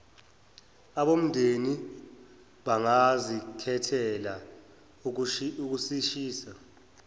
abomndeni bangazikhethela ukusishisa